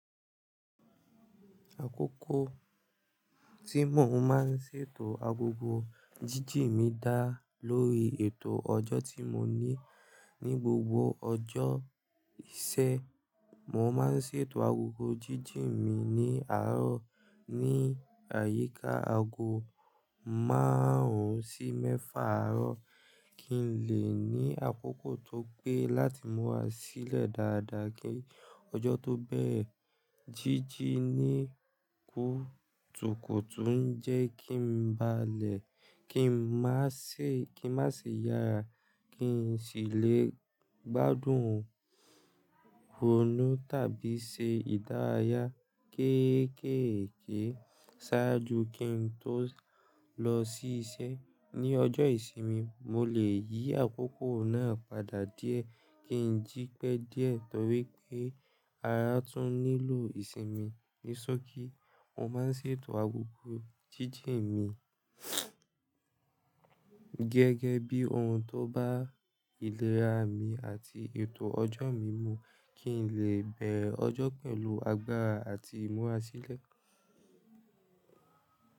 Àkókò tí mo máa ń ṣètò agogo jíji mi dá lórí ètò ọjọ́ tí mo ní. Ni gbogbo ọjọ́ ìṣẹ́, mo máa ń ṣètò agogo jíjì mi ní àárọ̀ ní àyíká aago márùn-ún sí mẹ́fà àárọ̀ kí n lè ní àkókò tó pé láti mura sílẹ̀ dáadáa kí ọjọ́ tó bẹ́ẹ̀re Jíjì ní kùtuku n jẹ́ kí n ba lè, kí n má ṣe, kí n má ṣe yára, kí n sì lè gbádùn oúnjẹ tábí ṣe ìdárayá kéékèèké ṣáájú kí n tó lọ sí iṣẹ́. Ni ọjọ́ ìsinmi, mo lè yí àkókò náà padà díẹ̀ kí n jí pẹ́ díẹ̀ torí pé ara tún nílò ìsinmi. Ni sooki mo máa ń ṣètò agogo jíjì mi gẹ́gẹ́ bí ohun tó bá ìlera mi àti ètò ọjọ́ mi mú kí n lè bẹ̀re ọjọ́ pẹ̀lú agbára àti imúra sílẹ̀.